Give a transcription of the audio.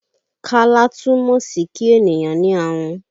Kálá túmọ̀ sí kí ènìyàn ní ahun